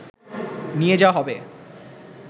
নিয়ে যাওয়া হবে